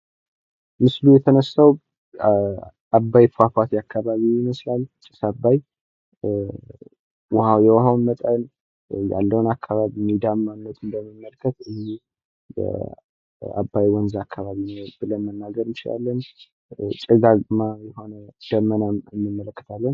ምስሉ የተነሳው አባይ ፏፏቴ አካባቢ ይመስላል። ጢስ አባይ የውሃውም መጠን ያለውም አካባቢ ሜዳማነቱን ስንመለከት አባይ ወንዝ አካባቢ ብለን መናገር እንችላለን። ሽጋጋማ የሆነን ደመናም እንመለከታለን።